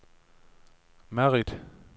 Madrid